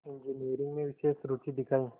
engineering में विशेष रुचि दिखाई